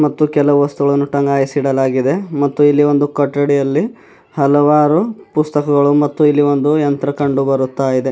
ಮತ್ತು ಕೆಲವು ವಸ್ತುಗಳನ್ನು ತಂಗಾಯಿಸೀಡಲಾಗಿದೆ ಮತ್ತೆ ಇಲ್ಲಿ ಒಂದು ಕಟ್ಟಡೆಯಲ್ಲಿ ಹಲವಾರು ಪುಸ್ತಕಗಳು ಮತ್ತು ಇಲ್ಲಿ ಒಂದು ಯಂತ್ರ ಕಂಡು ಬರುತ್ತಾ ಇದೆ.